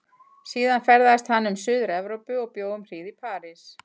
Síðan ferðaðist hann um suður-Evrópu og bjó um hríð í París.